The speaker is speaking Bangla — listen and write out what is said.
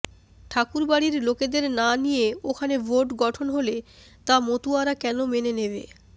ঠাকুরবাড়ির লোকেদের না নিয়ে ওখানে বোর্ড গঠন হলে তা মতুয়ারা কেন মেনে নেবে